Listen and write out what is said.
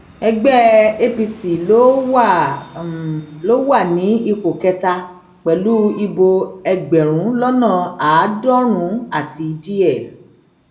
ẹgbẹ apc ló wà wà ní ipò kẹta pẹlú ìbò ẹgbẹrún lọnà àádọrùnún àti díẹ